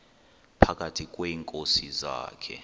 phakathi kweenkosi zakhe